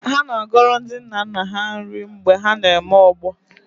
Ha na-agọrọ ndi nna nna ha nri mgbe na-eme ọgbọ